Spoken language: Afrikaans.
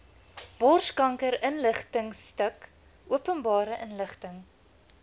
borskankerinligtingstuk openbare inligting